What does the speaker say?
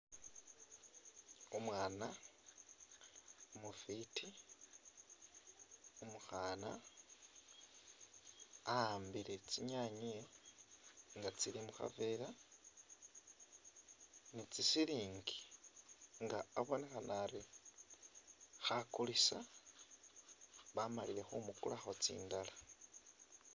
Umwana umufiti umukhana akhambile tsinyanye nga tsili mukhavela ni tsitsilingi nga abonekhanari khakulisa bamalile khumukulakho tsindala